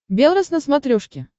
белрос на смотрешке